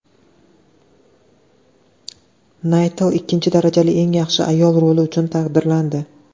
Naytli ikkinchi darajali eng yaxshi ayol roli uchun taqdirlandi.